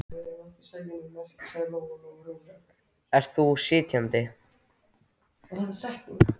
Ert þú sitjandi?